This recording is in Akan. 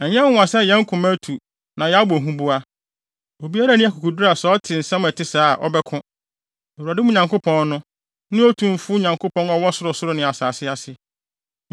Ɛnyɛ nwonwa sɛ yɛn koma atu na yɛabɔ huboa. Obiara nni akokoduru a sɛ ɔte nsɛm a ɛte sɛɛ a, ɔbɛko. Na Awurade, mo Nyankopɔn no, ne otumfo Nyankopɔn a ɔwɔ ɔsorosoro ne asase ase.